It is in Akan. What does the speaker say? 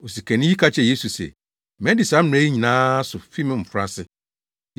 Osikani yi ka kyerɛɛ Yesu se, “Madi saa mmara yi nyinaa so fi me mmofraase.”